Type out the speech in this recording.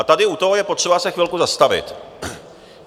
A tady u toho je potřeba se chvilku zastavit.